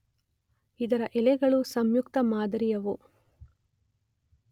ಇದರ ಎಲೆಗಳು ಸಂಯುಕ್ತ ಮಾದರಿಯವು.